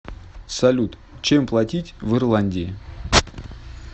салют чем платить в ирландии